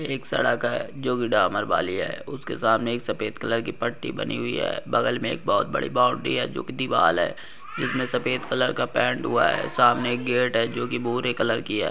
एक सड़क है जोकि डामर वाली है उसके सामने एक सफेद कलर की पट्टी बनी हुई है बगल में एक बहुत बड़ी बाउंड्री है जोकि दीवाल है जिसमें सफेद कलर का पैंट हुआ है। सामने एक गेट है जो कि भूरे कलर की है।